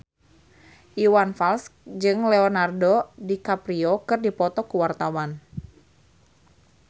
Iwan Fals jeung Leonardo DiCaprio keur dipoto ku wartawan